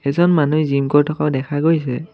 এজন মানুহে জিম কৰি থকাও দেখা গৈছে।